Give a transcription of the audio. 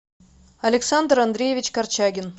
александр андреевич корчагин